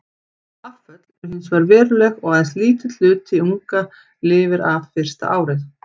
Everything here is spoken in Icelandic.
Afföll eru hins vegar veruleg og aðeins lítill hluti unga lifir af fyrsta árið.